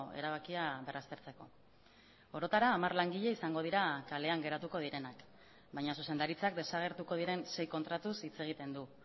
erabakia berraztertzeko orotara hamar langile izango dira kalean geratuko direnak baina zuzendaritzak desagertuko diren sei kontratuz hitz egiten du